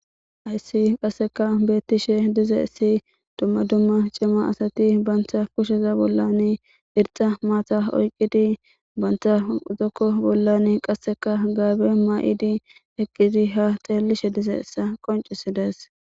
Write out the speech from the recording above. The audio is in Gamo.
Hayssi qasseka beeththishe dizayssi dumma dumma cima asathi banththa kusheza bollani irxxa maatha oyqqidi banththa zokko bollan qasseka gaabe ma7idi eqqidi ha xeellishe dizayssa qonccissi dees.